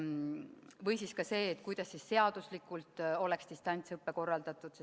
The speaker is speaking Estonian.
Või siis see, kuidas seaduslikult oleks distantsõpe korraldatud.